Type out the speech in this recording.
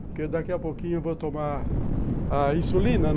Porque daqui a pouquinho eu vou tomar a insulina